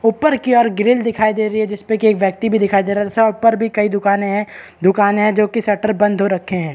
ऊपर की और ग्रिल दिखाई दे रही है जिसपे की एक व्यक्ति भी दिखाई दे रहा है ऊपर भी कई दुकान है दुकान है जो की शटर बंद हो रखे है।